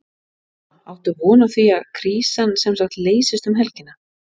Lóa: Áttu von á því að krísan semsagt leysist um helgina?